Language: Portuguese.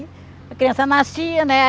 A criança nascia, né?